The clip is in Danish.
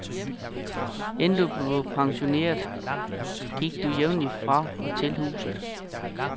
Inden du blev pensioneret, gik du jævnligt fra og til huset.